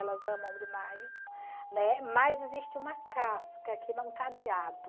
Elas amam demais, né, mas existe uma casca que não cadeado.